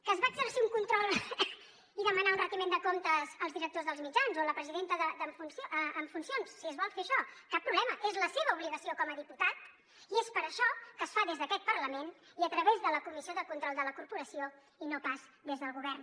que es va a exercir un control i demanar un retiment de comptes als directors dels mitjans o la presidenta en funcions si es vol fer això cap problema és la seva obligació com a diputat i és per això que es fa des d’aquest parlament i a través de la comissió de control de la corporació i no pas des del govern